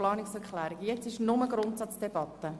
Gegenwärtig führen wir nur die Grundsatzdebatte.